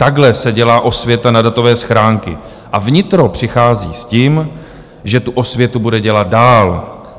Takhle se dělá osvěta na datové schránky a vnitro přichází s tím, že tu osvětu bude dělat dále.